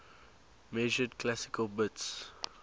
measured classical bits